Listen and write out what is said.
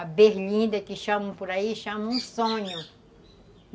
A berlinda, que por aí chamam de sonho.